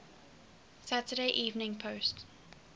saturday evening post